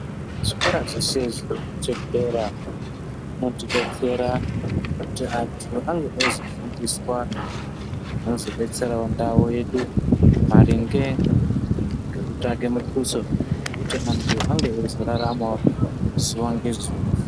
Zvikora zvese zvinofundisa kudera zvinotibetsera kuti andu ainozvinofundiswa zvinozodetsera ndau yedu maringe negekutsvake mutuso wekuti mundu ave achizoraramawo zuva nezuva.